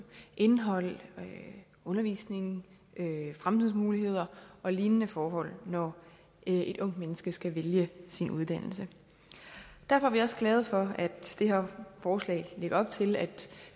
indhold undervisning fremtidsmuligheder og lignende forhold når et ungt menneske skal vælge sin uddannelse derfor er vi også glade for at det her forslag lægger op til at